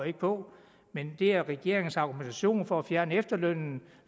ikke på men det er regeringens argumentation for at fjerne efterlønnen